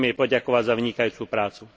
Chcem jej poďakovať za vynikajúcu prácu.